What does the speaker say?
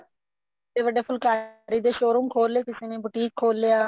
ਵੱਡੇ ਵੱਡੇ ਫੁਲਕਾਰੀ ਦੇ showroom ਖੋਲ ਲੈ ਕਿਸੇ ਨੇ boutique ਖੋਲ ਲਿਆ